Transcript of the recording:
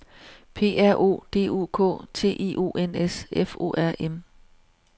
P R O D U K T I O N S F O R M